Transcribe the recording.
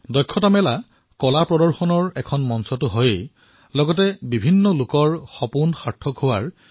হুনাৰ হাট কলাৰ প্ৰদৰ্শনৰ বাবে এক মঞ্চ হিচাপে বিবেচিত হোৱাৰ লগতে শিল্পীসকলৰ সপোনকো বাস্তৱায়িত কৰিছে